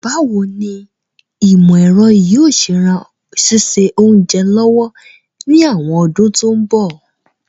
Báwoni ìmọ̀ èro yio se ran síse ounja lọ́wọ́ ni àwon odún to n bọ̀